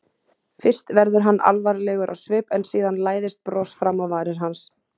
Fyrst verður hann alvarlegur á svip en síðan læðist bros fram á varir hans.